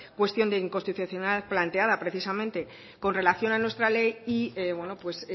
cuestión de inconstitucionalidad planteada precisamente con relación a nuestra ley y bueno pues